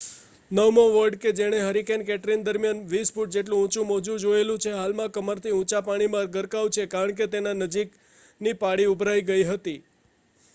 નવમો વોર્ડ કે જેણે હરિકેન કેટરિના દરમિયાન 20 ફુટ જેટલો ઊંચુ મોજું જોયેલું છે તે હાલમાં કમરથી ઊંચા પાણીમાં ગરકાવ છે કારણકે તેના નજીકની પાળી ઊભરાઈ ગઈ હતી